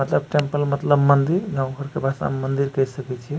मतलब टेम्पल मतलब मंदिर गांव घर के भाषा में मंदिर कह सके छीये।